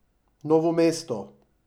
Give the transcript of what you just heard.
Novo mesto.